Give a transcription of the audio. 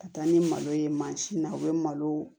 Ka taa ni malo ye mansin na u bɛ malo